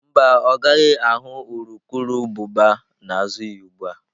Mba, ọ gaghị ahụ urukurubụba n'azụ ya ugbu a.